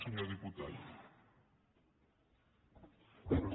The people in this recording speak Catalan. senyor diputat no